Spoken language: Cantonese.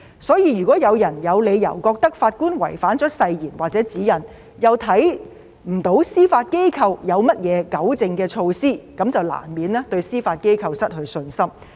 所以，如果有人有理由認為法官違反了誓言或指引，又看不到司法機構有何糾正的措施，那麼便難免對司法機構失去信心。